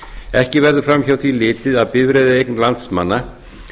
ekki verður fram hjá því litið að bifreiðaeign landsmanna